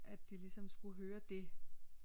At det ligesom skulle høre det